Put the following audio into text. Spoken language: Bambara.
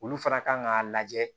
Olu fana kan k'a lajɛ